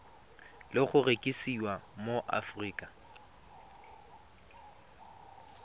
le go rekisiwa mo aforika